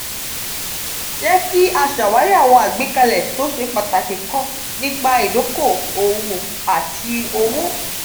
jẹ ki a ṣawari awọn agbekale to se pataki kan nipa idoko-owo ati owo.